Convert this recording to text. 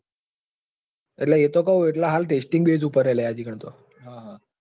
એટલે એતો કું લય હાલ testing base ઉપર હ હજી કાન